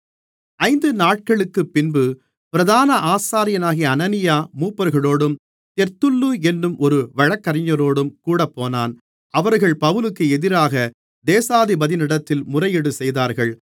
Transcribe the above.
ஐந்து நாட்களுக்குப்பின்பு பிரதான ஆசாரியனாகிய அனனியா மூப்பர்களோடும் தெர்த்துல்லு என்னும் ஒரு வழக்கறிஞரோடும் கூடப்போனான் அவர்கள் பவுலுக்கு எதிராக தேசாதிபதியினிடத்தில் முறையீடு செய்தார்கள்